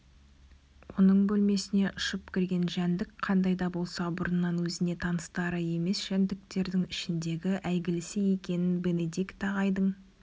оның бөлмесіне ұшып кірген жәндік қандай да болса бұрыннан өзіне таныстары емес жәндіктердің ішіндегі әйгілісі екенін бенедикт ағайдың